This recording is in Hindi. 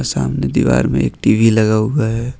सामने दीवार में एक टी_वी भी लगा हुआ है।